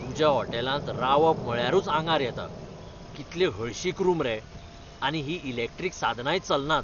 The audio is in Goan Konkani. तुज्या हॉटेलांत रावप म्हळ्यारूच आंगार येता, कितलें हळशीक रूम रे, आनी हीं इलॅक्ट्रिक साधनांय चलनात.